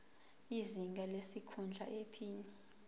izinga lesikhundla iphini